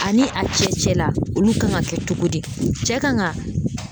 Ani a cɛ cɛla olu kan ka kɛ togo di cɛ kan ka